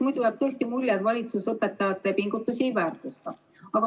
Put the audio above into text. Muidu jääb tõesti mulje, et valitsus õpetajate pingutusi ei väärtusta.